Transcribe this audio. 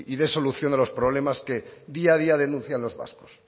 dé solución a los problemas que día a día denuncian los vascos